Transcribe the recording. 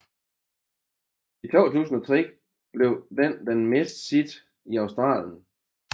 I 2003 blev den den mest sete i Australien